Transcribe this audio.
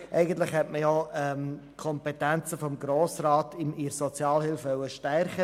Eigentlich wollte man mit dieser Motion die Kompetenzen des Grossen Rats in der Sozialhilfe stärken.